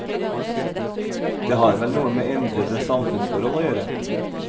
Det har vel noe med endrede samfunnsforhold å gjøre.